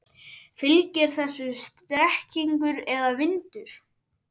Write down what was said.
Fylgir þessu strekkingur eða vindur?